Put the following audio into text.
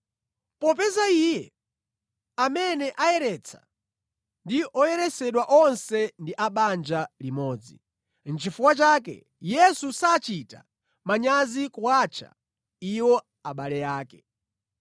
Popeza iye amene ayeretsa ndi oyeresedwa onse ndi abanja limodzi. Nʼchifukwa chake Yesu sachita manyazi kuwatcha iwo abale ake.